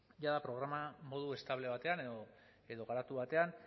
jada programa modu estable batean edo garatu batean